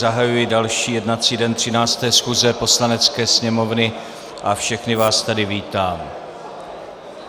Zahajuji další jednací den 13. schůze Poslanecké sněmovny a všechny vás tady vítám.